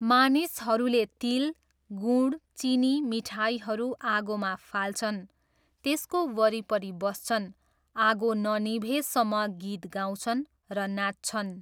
मानिसहरूले तिल, गुँड, चिनी मिठाईहरू आगोमा फाल्छन्, त्यसको वरिपरि बस्छन्, आगो ननिभेसम्म गीत गाउँछन् र नाच्छन्।